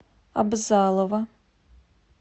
абзалова